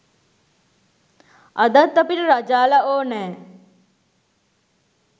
අදත් අපිට රජාලා ඕනෑ